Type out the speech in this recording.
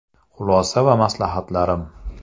Xulosa va maslahatlarim.